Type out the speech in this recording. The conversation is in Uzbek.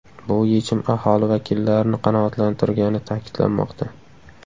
Bu yechim aholi vakillarini qanoatlantirgani ta’kidlanmoqda.